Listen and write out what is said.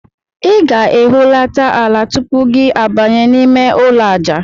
Ị ga-ehulata ala tupu gị abanye n'ime ụlọ aja.